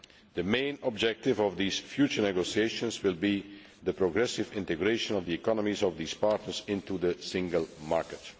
The main objective of these future negotiations will be the progressive integration of the economies of these partners into the single market.